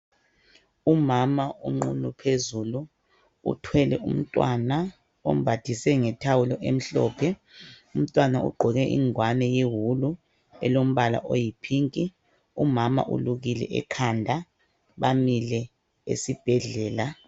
Umama unqunu phezulu uthwele umntwana umembathise ngethawulo emhlophe. Umntwana ugqoke ingowane yewulu elombala oyipink, umama ulukile ekhanda, bamile esibhedlela.